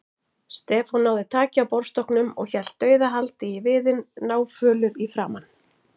Stefán náði taki á borðstokknum og hélt dauðahaldi í viðinn, náfölur í framan.